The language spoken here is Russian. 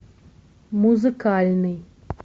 музыкальный